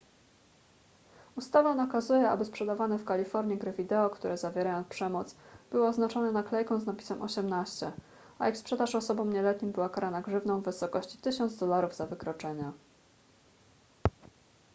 ustawa nakazuje aby sprzedawane w kalifornii gry wideo które zawierają przemoc były oznaczone naklejką z napisem 18 a ich sprzedaż osobom nieletnim była karana grzywną w wysokości 1000 dolarów za wykroczenie